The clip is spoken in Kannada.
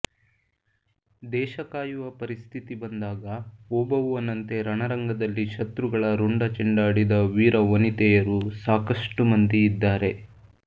ದೇಶ ಕಾಯುವ ಪರಿಸ್ಥಿತಿ ಬಂದಾಗ ಒಬವ್ವನಂತೆ ರಣರಂಗದಲ್ಲಿ ಶತ್ರುಗಳ ರುಂಡ ಚೆಂಡಾಡಿದ ವೀರ ವನಿತೆಯರು ಸಾಕಷ್ಟು ಮಂದಿ ಇದ್ದಾರೆ